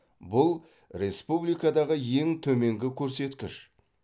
бұл республикадағы ең төменгі көрсеткіш